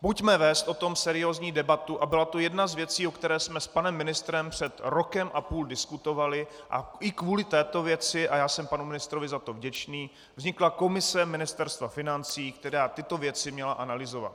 Pojďme vést o tom seriózní debatu, a byla to jedna z věcí, o které jsme s panem ministrem před rokem a půl diskutovali, a i kvůli této věci, a já jsem panu ministrovi za to vděčný, vznikla komise Ministerstva financí, která tyto věci měla analyzovat.